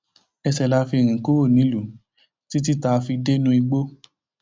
ẹṣẹ la fi rìn kúrò nílùú títí tá a fi dé inú igbó